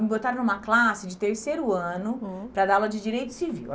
Me botaram numa classe de terceiro ano, hum, para dar aula de Direito Civil.